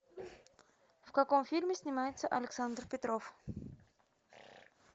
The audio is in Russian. в каком фильме снимается александр петров